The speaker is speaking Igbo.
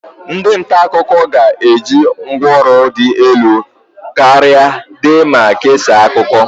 Ndị nta akụkọ ga-eji ngwa ọrụ dị elu karịa dee ma kesaa akụkọ.